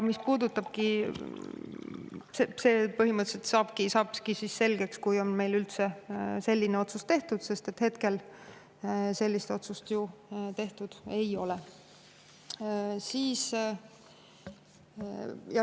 See põhimõtteliselt saabki selgeks siis, kui selline otsus üldse tehakse, hetkel sellist otsust tehtud ei ole.